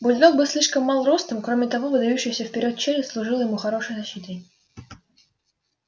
бульдог был слишком мал ростом кроме того выдающаяся вперёд челюсть служила ему хорошей защитой